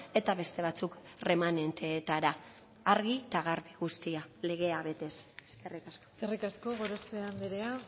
eta beste batzuk erremanenteetara argi eta garbi guztia legea betez eskerrik asko eskerrik asko gorospe andrea